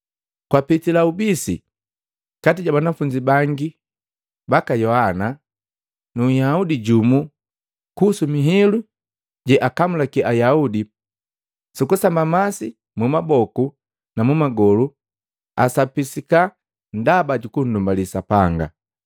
Gwapitila ubisi kati ja banafunzi bangi baka Yohana nu nhyuda jumu kuhusu mihilu jeakamulaki Ayaudi jukusamba masi mumaboku na mumagolu asapisika ndaba jukundumbali Sapanga.